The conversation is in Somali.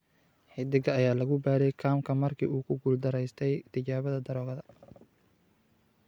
Xiddiga ayaa lagu baadhay kaamka markii uu ku guuldareystay tijaabada daroogada.